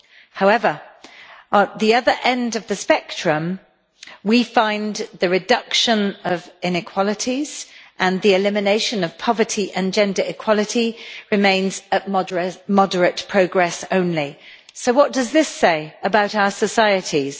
However, at the other end of the spectrum, we find the reduction of inequalities and the elimination of poverty, plus gender equality, remaining at moderate progress only. So what does this say about our societies?